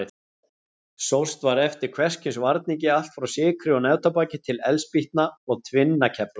Sóst var eftir hvers kyns varningi, allt frá sykri og neftóbaki til eldspýtna og tvinnakefla.